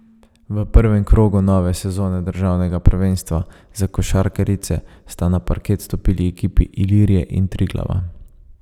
V prvem krogu nove sezone državnega prvenstva za košarkarice sta na parket stopili ekipi Ilirije in Triglava.